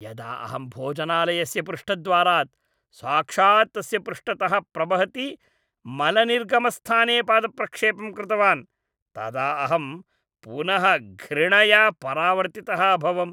यदा अहं भोजनालयस्य पृष्ठद्वारात् साक्षात् तस्य पृष्ठतः प्रवहति मलनिर्गमस्थाने पादप्रक्षेपं कृतवान् तदा अहं पुनः घृणया परावर्तितः अभवम्।